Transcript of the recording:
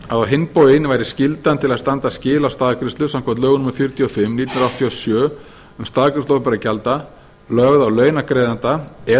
á hinn bóginn væri skyldan til að standa skil á staðgreiðslu samkvæmt lögum númer fjörutíu og fimm nítján hundruð áttatíu og sjö um staðgreiðslu opinberra gjalda lögð á launagreiðanda eða